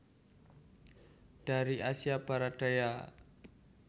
Dari Asia Barat Daya